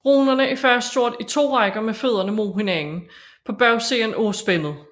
Runerne er fastgjort i to rækker med fødderne mod hinanden på bagsiden af spændet